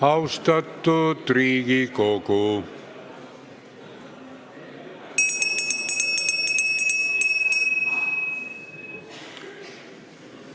Austatud Riigikogu!